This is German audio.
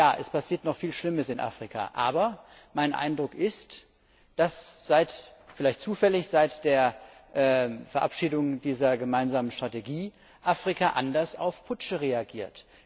Ja, es passiert noch viel Schlimmes in Afrika! Aber mein Eindruck ist vielleicht ist das Zufall dass seit der Verabschiedung dieser Gemeinsamen Strategie Afrika anders auf Putsche reagiert.